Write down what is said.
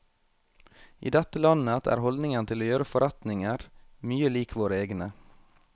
I dette landet er holdningen til å gjøre forretninger mye lik våre egne.